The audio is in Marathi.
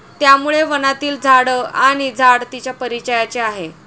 त्यामुळे वनातील झाड आणि झाड तिच्या परिचयाचे आहे.